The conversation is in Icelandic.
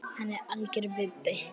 Hann er algjör vibbi.